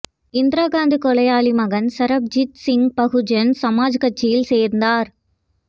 இந்திராகாந்தி கொலையாளி மகன் சரப்ஜித் சிங் பகுஜன் சமாஜ் கட்சியில் சேர்ந்தார்